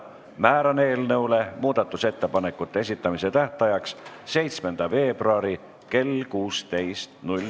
Määran eelnõu muudatusettepanekute esitamise tähtajaks 7. veebruari kell 16.